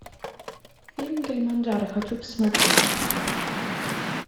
фильм килиманджаро хочу посмотреть